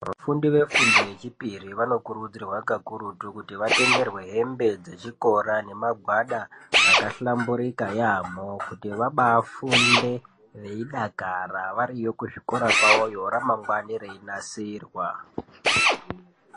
Vafundi vefundo yechipiri vanokurudzirwa kakurutu kuti vatengerwe hembe dzechikora nemagwada akahlamburika yaamho kuti vabaafunde veidakara variyo kuzvikora kwavoyo ramangwani reyinasirwa.